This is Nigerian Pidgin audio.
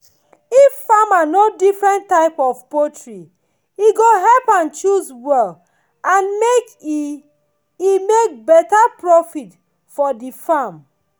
if farmer know different type of poultry e go help am choose well and make e e make better profit for the farm